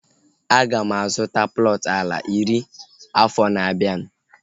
Aga m azụta plọtu ala iri afọ na-abianu